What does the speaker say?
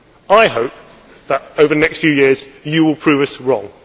I hope that, over the next few years, you will prove us wrong.